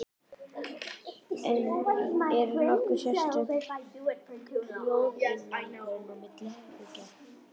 En er nokkur sérstök hljóðeinangrun milli herbergja?